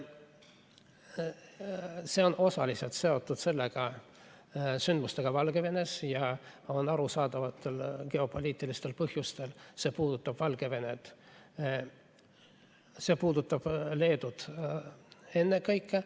See on osaliselt seotud sündmustega Valgevenes ja arusaadavatel geopoliitilistel põhjustel see puudutab Leedut ennekõike.